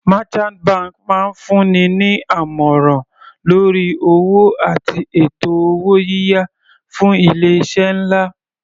Merchant banks máa ń fún ni ní àmọ̀ràn lórí owó àti ètò owó yíyá fún ilé iṣẹ́ nlá.